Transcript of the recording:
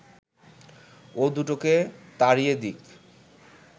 ও দুটোকে তাড়িয়ে দিক